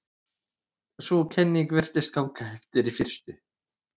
Sú kenning virtist ganga eftir í fyrstu.